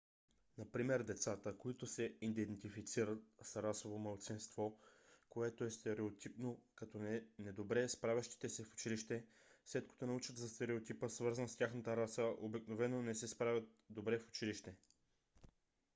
например децата които се идентифицират с расово малцинство което е стереотипно като не добре справящи се в училище след като научат за стереотипа свързан с тяхната раса обикновено не се справят добре в училище